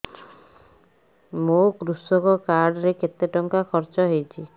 ମୋ କୃଷକ କାର୍ଡ ରେ କେତେ ଟଙ୍କା ଖର୍ଚ୍ଚ ହେଇଚି